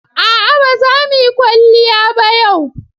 A'a ba za mu yi kwalliya ba yau.